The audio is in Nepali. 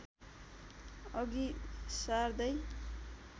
अघि सार्दै